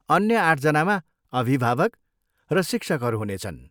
अन्य आठजनामा अभिभावक र शिक्षकहरू हुनेछन्।